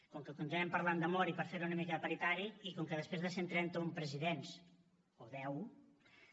com que continuem parlant d’amor i per fer ho una mica paritari i com que després de cent i trenta un presidents o deu